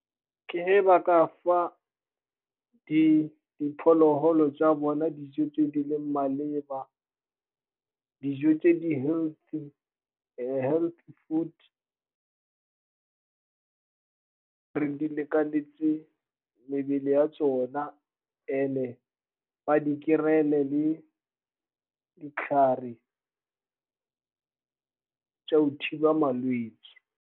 Ke ge ba ka fa diphologolo tsa bona dijo tse di leng maleba, dijo tse di-healthy, healthy food di lekanetse mebele ya tsona, and-e ba di kry-ele le ditlhare go thiba malwetse.